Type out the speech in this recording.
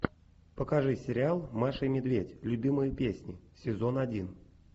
покажи сериал маша и медведь любимые песни сезон один